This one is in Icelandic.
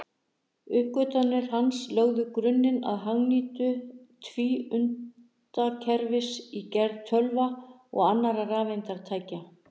Uppgötvanir hans lögðu grunninn að hagnýtingu tvíundakerfisins í gerð tölva og annarra rafeindatækja.